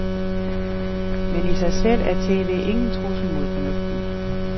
Men i sig selv er TVingen trussel mod fornuften.